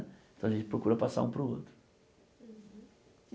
Então a gente procura passar um para o outro.